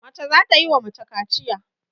Mace za ta yi wa mace kaciya.